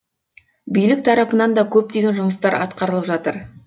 билік тарапынан да көптеген жұмыстар атқарылып жатыр